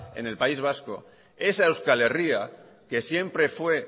en el país vasco esa euskal herria que siempre fue